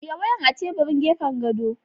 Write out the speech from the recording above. Ajiye wayan a teburin gefan gado!